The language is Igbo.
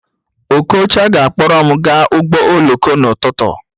Okocha ga-akpọrọ m gaa ụgbọ oloko n'ụtụtụ